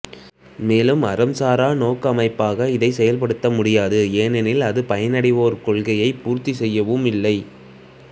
மேலும் அறம் சாரா நோக்க அமைப்பாக அதைச் செயல்படுத்த முடியாது ஏனெனில் அது பயனடைவோர் கொள்கையைப் பூர்த்தி செய்யவும் இல்லை